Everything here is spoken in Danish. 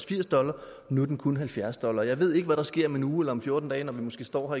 firs dollar og nu er den kun på halvfjerds dollar jeg ved ikke hvad der sker om en uge eller om fjorten dage når vi måske står